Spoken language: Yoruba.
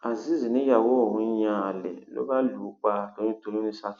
azeez níyàwó òun ń yan àlè ló bá lù ú pa toyúntọyún ní saki